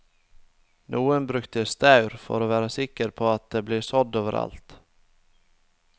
Noen brukte staur for å være sikker på at det ble sådd over alt.